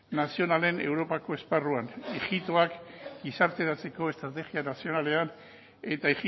nazionalen europako esparruan ijitoak gizarteratzeko estrategia nazionalean eta